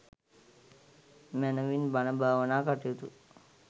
මැනවින් බණ භාවනා කටයුතු